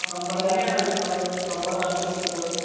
നമ്മടെ രാജ്യത്തെ പടങ്ങളും, നമ്മടെ നാട്ടിലെ സിനിമകളും